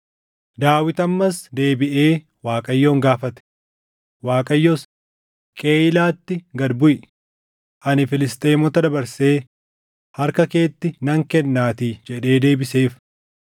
Daawit ammas deebiʼee Waaqayyoon gaafate; Waaqayyos, “Qeyiilaatti gad buʼi; ani Filisxeemota dabarsee harka keetti nan kennaatii” jedhee deebiseef.